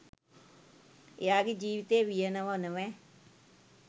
එයාගේ ජිවිතේ වියනව නොවැ